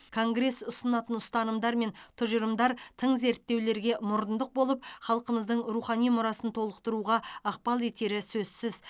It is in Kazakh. конгресс ұсынатын ұстанымдар мен тұжырымдар тың зерттеулерге мұрындық болып халқымыздың рухани мұрасын толықтыруға ықпал етері сөзсіз